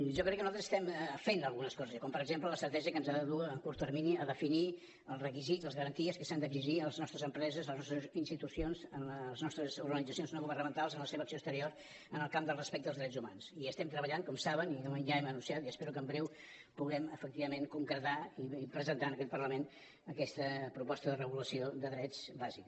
jo crec que nosaltres estem fent algunes coses bé com per exemple l’estratègia que ens ha de dur a curt termini a definir els requisits les garanties que s’han d’exigir a les nostres empreses a les nostres institucions a les nostres organitzacions no governamentals en la seva acció exterior en el camp del respecte als drets humans hi estem treballant com saben i de moment ja hem anunciat i espero que aviat puguem efectivament concretar i presentar en aquest parlament aquesta proposta de regulació de drets bàsica